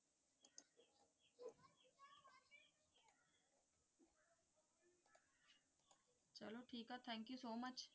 thank you so much